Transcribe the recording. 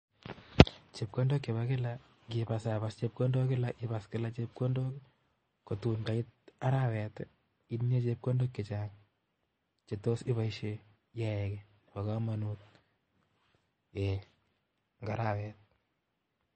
Chepkondok chebo kila, indipasapas kila chepkondok chebo kila kotun kait arawet itinye chepkondok chechang chetos much iyaen gii.ei bo komonut en aarawet